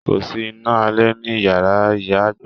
Kòsí iná alé ní iyàrá ìyá àgbà.